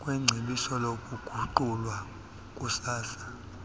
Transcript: kwecebo lokuguqulwa kukasaa